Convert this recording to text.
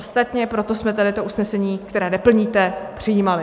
Ostatně proto jsme tady to usnesení, které neplníte, přijímali.